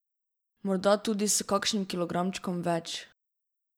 Morda tudi s kakšnim kilogramčkom več.